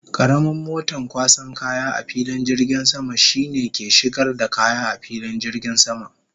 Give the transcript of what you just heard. Karamin moton kwasan kaya a filin jirgin sama shine ke shigar da kaya a filin jirgin sama.